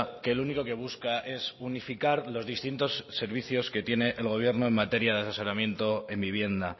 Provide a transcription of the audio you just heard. que lo único que busca es unificar los distintos servicios que tiene el gobierno en materia de asesoramiento en vivienda